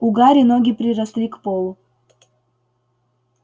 у гарри ноги приросли к полу